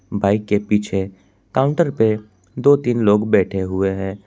Bike के पीछे counter पे दो तीन लोग बैठे हुए हैं।